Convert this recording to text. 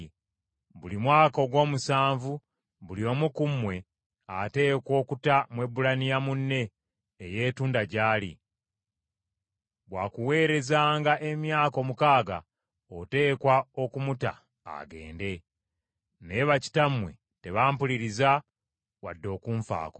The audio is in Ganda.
‘Buli mwaka ogw’omusanvu buli omu ku mmwe ateekwa okuta Mwebbulaniya munne eyeetunda gy’ali. Bwakuweererezanga emyaka omukaaga, oteekwa okumuta agende.’ Naye bakitammwe tebampuliriza wadde okunfaako.